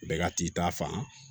Bɛɛ ka t'i ta fan